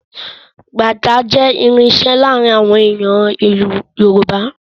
Bàtá jẹ́ irinṣẹ́ láàárín àwọn ènìyàn Yorùbá